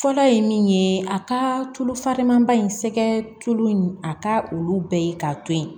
Fɔlɔ ye min ye a ka tulu falenman ba in sɛgɛ tulo in a ka olu bɛɛ ye k'a to ye